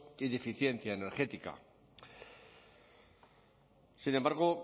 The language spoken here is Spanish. y de eficiencia energética sin embargo